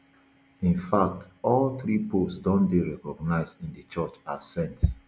in fact all three popes don dey recognised in di church as saints